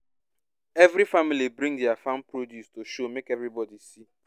every family bring dia farm produce to show make everybody see